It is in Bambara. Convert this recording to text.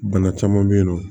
Bana caman bɛ yen nɔ